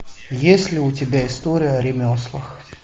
есть ли у тебя история о ремеслах